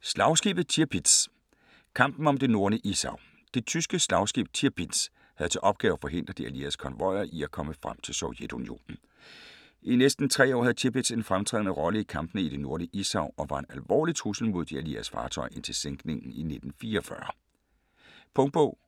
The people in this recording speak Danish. Slagskibet Tirpitz: kampen om det Nordlige Ishav Det tyske slagskib Tirpitz havde til opgave at forhindre de allieredes konvojer at komme frem til Sovjetunionen. I næsten tre år havde Tirpitz en fremtrædende rolle i kampene i det nordlige Ishav og var en alvorlig trussel mod de allieredes fartøjer indtil sænkningen i 1944. Punktbog